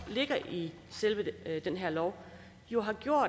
ligger i selve den her lov